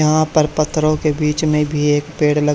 यहां पर पत्थरों के बीच में भी एक पेड़ लग--